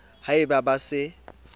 ha e ba ba se